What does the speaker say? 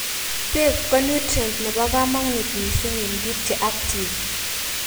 beek konutrient nebo kamanut missing en biik cheactive